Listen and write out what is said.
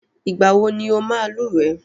Ìgbà wọ ní ọ máa lúwẹ̀ẹ́?